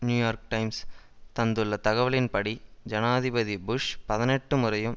New York Times தந்துள்ள தகவலின்படி ஜனாதிபதி புஷ் பதினெட்டு முறையும்